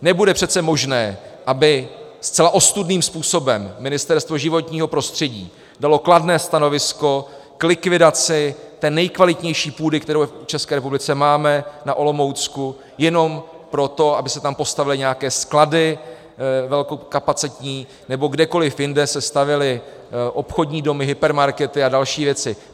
Nebude přece možné, aby zcela ostudným způsobem Ministerstvo životního prostředí dalo kladné stanovisko k likvidaci té nejkvalitnější půdy, kterou v České republice máme, na Olomoucku, jenom pro to, aby se tam postavily nějaké sklady velkokapacitní, nebo kdekoliv jinde se stavěly obchodní domy, hypermarkety a další věci.